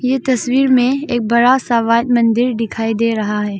ये तस्वीर में एक बड़ा सा व्हाइट मंदिर दिखाई दे रहा है।